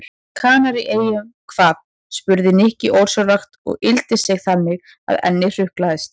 Kanaríeyjum hvað? spurði Nikki ósjálfrátt og yggldi sig þannig að ennið hrukkaðist.